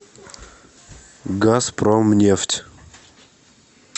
газпромнефть